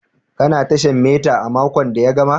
Ka na tashan mita a makon da ya gama?